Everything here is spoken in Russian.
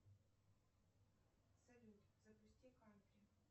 салют запусти кантри